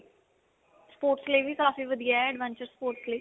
sports ਲਈ ਵੀ ਕਾਫੀ ਵਧੀਆ ਹੈ adventure sport ਲਈ.